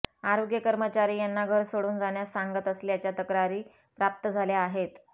आरोग्य कर्मचारी यांना घर सोडून जाण्यास सांगत असल्याच्या तक्रारी प्राप्त झाल्या आहेत